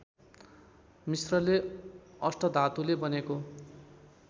मिश्रले अष्टधातुले बनेको